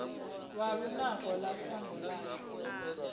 lwa lunako lwa shango ashu